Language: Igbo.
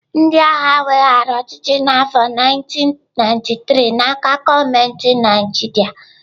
Ndị agha weghaara ọchịchị n'afọ 1993 n'aka gọọmenti Naijiria.